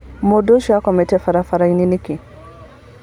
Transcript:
Mũndũ ũcio akomete barabarainĩ nĩkĩ?